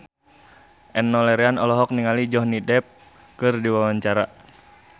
Enno Lerian olohok ningali Johnny Depp keur diwawancara